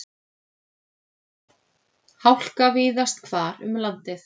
Hálka víðast hvar um landið